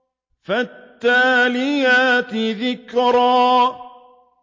فَالتَّالِيَاتِ ذِكْرًا